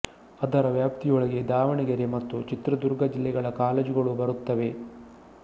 ಅದರ ವ್ಯಾಪ್ತಿಯೊಳಗೆ ದಾವಣಗೆರೆ ಮತ್ತು ಚಿತ್ರದುರ್ಗ ಜಿಲ್ಲೆಗಳ ಕಾಲೇಜುಗಳು ಬರುತ್ತವೆ